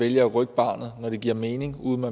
vælge at rykke barnet når det giver mening uden at